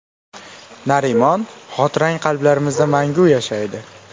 Narimon, xotirang qalblarimizda mangu yashaydi.